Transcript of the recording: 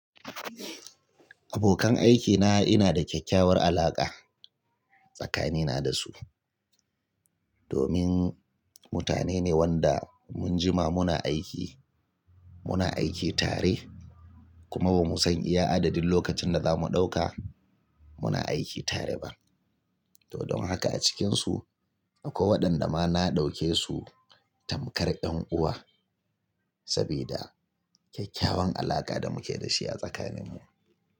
Abokan aikina ina da kyakkyawar alaƙa tsakanina da su. Domin mutane ne wanda mun jima muna aiki, muna aiki tare kuma ba mu san iya adadin lokacin da za mu ɗauka muna aiki tare ba. To don haka a cikinsu akwai waɗanda ma na ɗauke su tamkar ƴan uwa saboda kyakkyawan alaƙa da muke da shi a tsakaninmu.